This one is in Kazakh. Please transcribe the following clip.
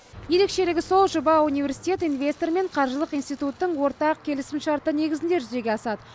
ерекшелігі сол жоба университет инвестор мен қаржылық институттың ортақ келісімшарты негізінде жүзеге асады